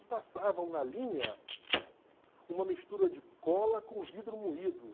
E passavam na linha uma mistura de cola com vidro moído.